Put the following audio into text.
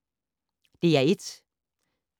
DR1